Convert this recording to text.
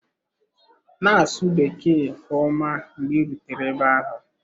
Na-asụ Bekee nke ọma mgbe ị rutere ebe ahụ.